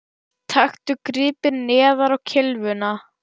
Taktu gripið neðar á kylfuna